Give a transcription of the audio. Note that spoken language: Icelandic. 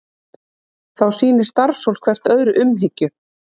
Þá sýni starfsfólk hvert öðru umhyggju